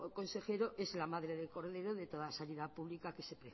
consejero es la madre del cordero de toda sanidad pública que se